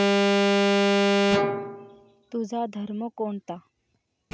तुझा धर्म कोणता?